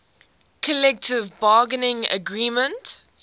collective bargaining agreement